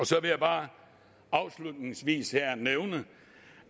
så vil jeg bare afslutningsvis nævne